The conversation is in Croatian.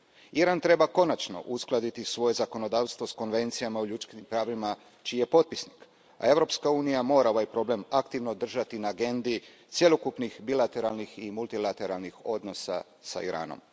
Iran treba konačno uskladiti svoje zakonodavstvo s konvencijama o ljudskim pravima čiji je potpisnik, a Europska unija mora ovaj problem aktivno držati na agendi cjelokupnih bilateralnih i multilateralnih odnosa s Iranom.